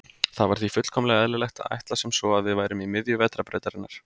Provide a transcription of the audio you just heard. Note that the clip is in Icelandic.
Það var því fullkomlega eðlilegt að ætla sem svo að við værum í miðju Vetrarbrautarinnar.